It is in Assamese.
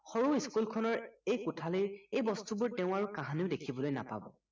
সৰু school খনৰ এই কোঠালীৰ এই বস্তুবোৰ তেওঁ আৰু কাহানিও দেখিবলৈ নাপাব